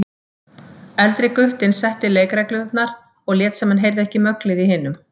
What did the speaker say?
Eldri guttinn setti leikreglurnar og lét sem hann heyrði ekki möglið í hinum.